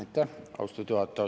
Aitäh, austatud juhataja!